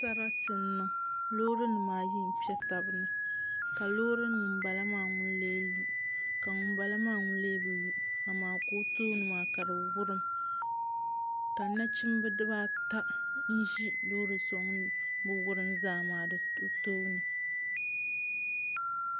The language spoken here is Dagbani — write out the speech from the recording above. Sarati n niŋ loori nim ayi n kpɛ tabi ni ka loori ŋun bala maa ŋun lu ka ŋunbala maa ŋun lee bi lu ka o tooni maa ka di wurim ka nachimbi ata ʒi loori so ŋun bi wurim zaa maa di tooni